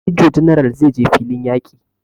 Major general zai je filin yaƙi